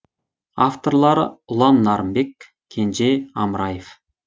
авторлары ұлан нарынбек кенже амраев